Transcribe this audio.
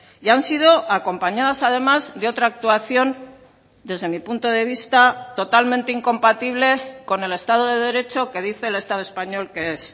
y han sido acompañadas además de otra actuación desde mi punto de vista totalmente incompatible con el estado de derecho que dice el estado español que es